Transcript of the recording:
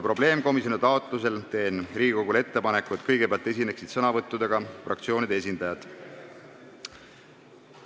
Probleemkomisjoni taotlusel teen Riigikogule ettepaneku, et kõigepealt esineksid sõnavõttudega fraktsioonide esindajad.